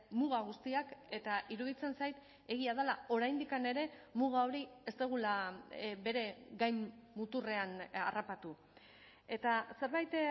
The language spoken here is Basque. muga guztiak eta iruditzen zait egia dela oraindik ere muga hori ez dugula bere gain muturrean harrapatu eta zerbait